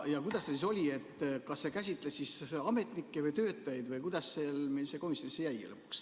Kuidas see siis oli, kas see käsitles ametnikke või töötajaid, või kuidas see meil komisjonis lõpuks jäi?